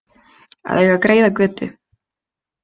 Að eiga greiða götu